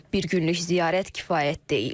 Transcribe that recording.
Bir günlük ziyarət kifayət deyil.